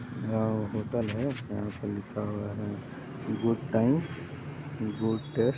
यहाँ होटल है यहाँ पे लिखा हुआ है गुड टाइम गुड टैस्ट।